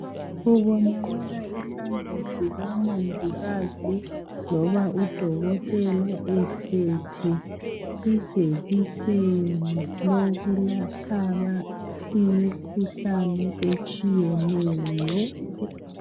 Kubonaka isandla sikamongikazi loba udokotela ephethe ijekiseni lokulapha imikhuhlane etshiyeneyo.